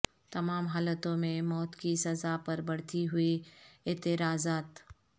تمام حالتوں میں موت کی سزا پر بڑھتی ہوئی اعتراضات